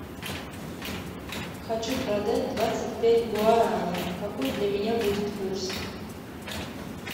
хочу продать двадцать пять гуарани какой для меня будет курс